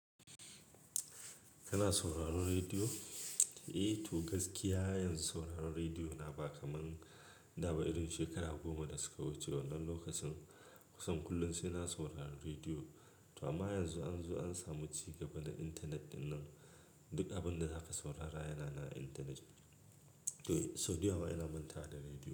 Kana sauraron rediyo? Eh to gaskiya yanzu sauraron rediyo na ba kamar da ba irin shekaru goma da suka wuce. Wannan lokacin kusan kullum sai na sauraron rediyo. To amma yanzu an zo an samu ci gaba na intanet ɗin nan, duk abin da zaka saurara yana nan a intanet. To sau da yawa ina manta wa da rediyo.